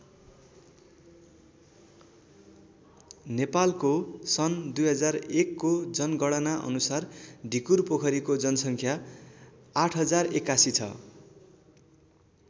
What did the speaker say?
नेपालको सन् २००१ को जनगणना अनुसार ढिकुरपोखरीको जनसङ्ख्या ८०८१ छ।